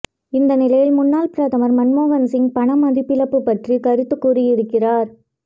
இந்நிலையில் முன்னாள் பிரதமர் மன்மொகன் சிங் பண மதிப்பிழப்பு பற்றி கருத்து கூறியிருக்கிறார்